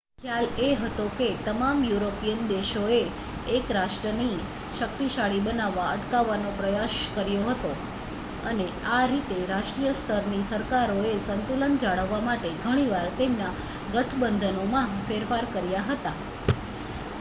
ખ્યાલ એ હતો કે તમામ યુરોપિયન દેશોએ એક રાષ્ટ્રને શક્તિશાળી બનતા અટકાવવાનો પ્રયાસ કરવો પડતો હતો અને આ રીતે રાષ્ટ્રીય સ્તરની સરકારોએ સંતુલન જાળવવા માટે ઘણી વાર તેમના ગઠબંધનોમાં ફેરફાર કર્યા હતા